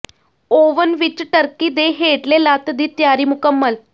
oven ਵਿੱਚ turkey ਦੇ ਹੇਠਲੇ ਲੱਤ ਦੀ ਤਿਆਰੀ ਮੁਕੰਮਲ